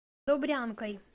добрянкой